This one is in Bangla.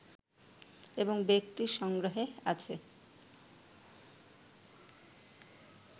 এবং ব্যক্তির সংগ্রহে আছে